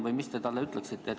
Või mis te talle ütleksite?